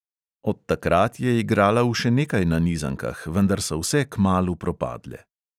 Od takrat je igrala v še nekaj nanizankah, vendar so vse kmalu propadle.